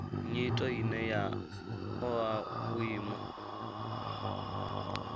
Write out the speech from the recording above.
nyito ine ya oa vhuimo